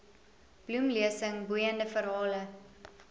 bloemlesing boeiende verhale